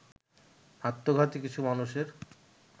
আত্মঘাতী কিছু মানুষের